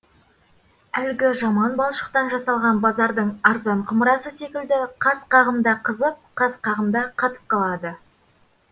әлгі жаман балшықтан жасалған базардың арзан құмырасы секілді қас қағымда қызып қас қағымда қатып қалады